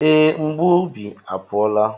Ee, mgbu obi apụọla.